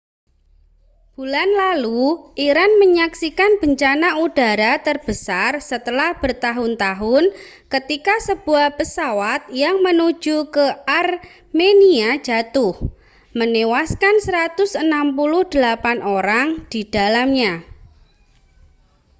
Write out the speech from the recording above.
bulan lalu iran menyaksikan bencana udara terbesar setelah bertahun-tahun ketika sebuah pesawat yang menuju ke armenia jatuh menewaskan 168 orang di dalamnya